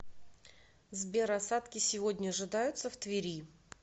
сбер осадки сегодня ожидаются в твери